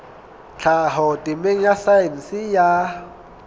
tlhaho temeng ya saense ya